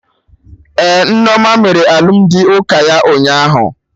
Ee, Nneoma mere alụmdi ụka ya ụnyaahụ